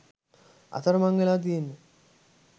අතරමං වෙලා තියෙන්නෙ